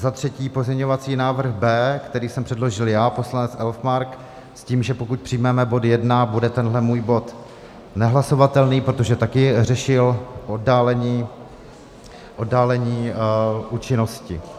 Za třetí pozměňovací návrh B, který jsem předložil já, poslanec Elfmark, s tím, že pokud přijmeme bod 1, bude tenhle můj bod nehlasovatelný, protože také řešil oddálení účinnosti.